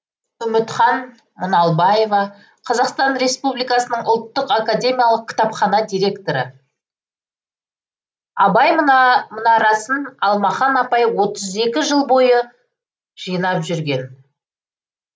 үмітхан мұналбаева қазақстан республикасы ұлттық академиялық кітапхана директоры абай мұнарасын алмахан апай отыз екі жыл бойы жинап жүрген